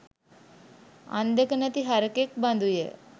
අං දෙක නැති හරකෙක් බඳුය.